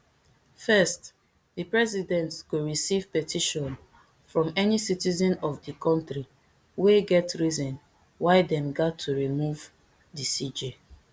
first di president go receive petition from any citizen of di kontri wey get reason why dem gat to remove di cj